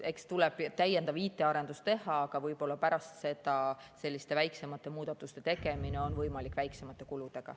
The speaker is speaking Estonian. Eks tuleb täiendav IT‑arendus teha, aga võib-olla pärast seda on selliste väiksemate muudatuste tegemine võimalik väiksemate kuludega.